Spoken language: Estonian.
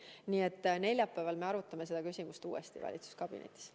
Nii et neljapäeval me arutame seda küsimust uuesti valitsuskabinetis.